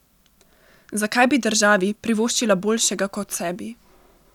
Zakaj bi državi privoščila boljšega kot sebi?